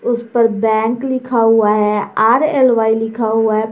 उस पर बैंक लिखा हुआ है आर_एल_वाइ लिखा हुआ है।